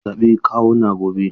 Zan zaɓi kawuna gobe.